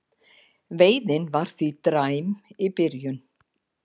Veiðin var því dræm í byrjun